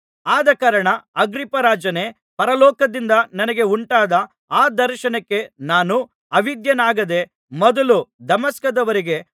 ಆದಕಾರಣ ಅಗ್ರಿಪ್ಪರಾಜನೇ ಪರಲೋಕದಿಂದ ನನಗೆ ಉಂಟಾದ ಆ ದರ್ಶನಕ್ಕೆ ನಾನು ಅವಿಧೇಯನಾಗದೆ ಮೊದಲು ದಮಸ್ಕದವರಿಗೆ